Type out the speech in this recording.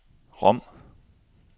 Rom